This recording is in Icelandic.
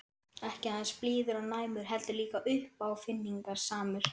Ekki aðeins blíður og næmur- heldur líka uppáfinningasamur.